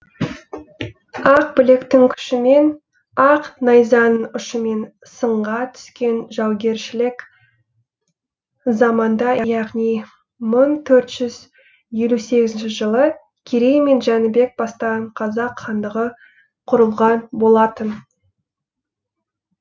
ақ білектің күшімен ақ найзаның ұшымен сынға түскен жаугершілік заманда яғни мың төрт жүз елу сегізінші жылы керей мен жәнібек бастаған қазақ хандығы құрылған болатын